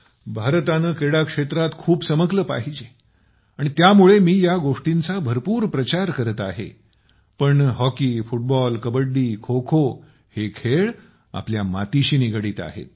भारताने क्रीडा क्षेत्रात खूप चमकले पाहिजे आणि त्यामुळे मी या गोष्टींचा भरपूर प्रचार करत आहे पण हॉकी फुटबॉल कबड्डी खोखो हे खेळ आपल्या मातीशी निगडीत आहेत